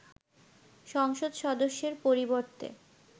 সংসদ সদস্যের পরিবর্তে